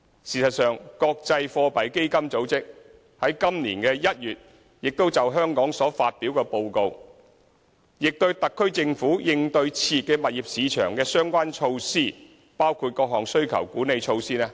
事實上，國際貨幣基金組織在今年1月就香港所發表的報告中，亦肯定特區政府應對熾熱物業市場的相關措施，包括各項需求管理措施。